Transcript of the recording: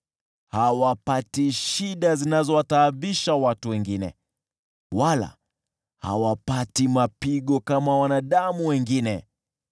Hawapati shida zinazowataabisha watu wengine, wala hawapati mapigo kama wanadamu wengine.